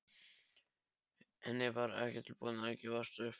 En ég var ekki tilbúin að gefast upp.